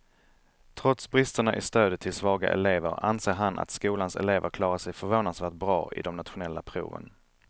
Trots bristerna i stödet till svaga elever anser han att skolans elever klarar sig förvånansvärt bra i de nationella proven.